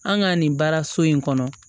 An ka nin baaraso in kɔnɔ